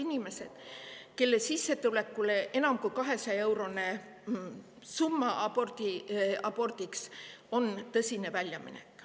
Nende sissetulekut on enam kui 200-eurone summa, mis abordi, tõsine väljaminek.